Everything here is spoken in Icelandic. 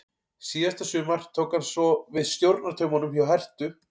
Síðasta sumar tók hann svo við stjórnartaumunum hjá Herthu.